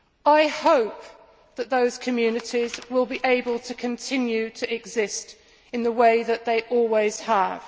I hope that those communities will be able to continue to exist in the way that they always have.